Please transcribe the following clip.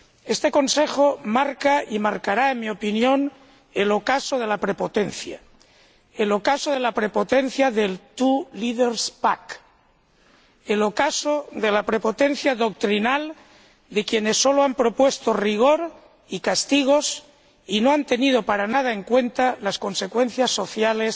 Este Consejo marca y marcará, en mi opinión, el ocaso de la prepotencia, el ocaso de la prepotencia del two leaders' pact el ocaso de la prepotencia doctrinal de quienes solo han propuesto rigor y castigos y no han tenido para nada en cuenta las consecuencias sociales